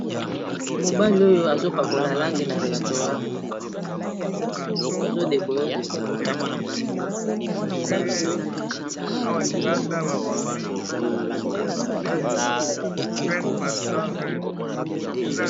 Mobali oyo azopakola langi na restaurant azo decore restaurant.